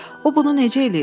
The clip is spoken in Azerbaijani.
O bunu necə eləyir?